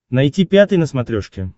найти пятый на смотрешке